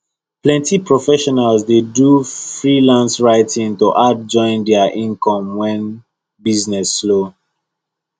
plenty professionals dey do freelance writing to add join their income when business slow